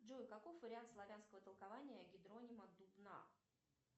джой каков вариант славянского толкования гидронима дубна